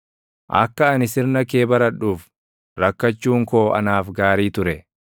Akka ani sirna kee baradhuuf, rakkachuun koo anaaf gaarii ture.